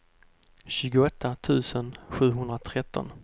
tjugoåtta tusen sjuhundratretton